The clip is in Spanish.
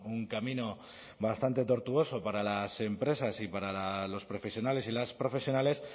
un camino bastante tortuoso para las empresas y para los profesionales y las profesionales